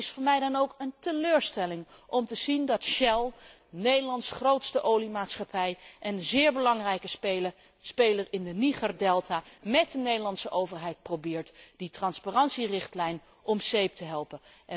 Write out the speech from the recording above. Het is voor mij dan ook een teleurstelling om te zien dat Shell, Nederlands grootste oliemaatschappij en een zeer belangrijke speler in de Nigerdelta, met de Nederlandse overheid probeert die transparantierichtlijn om zeep te helpen.